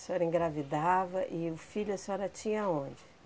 A senhora engravidava e o filho a senhora tinha aonde?